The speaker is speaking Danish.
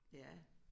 Ja